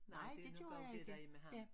Nej det nok også det der er med ham